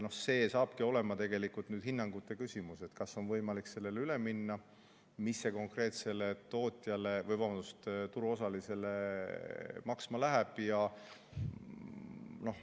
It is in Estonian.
See saabki olema tegelikult hinnangute küsimus, kas on võimalik sellele üle minna ja mis see konkreetsele turuosalisele maksma läheb.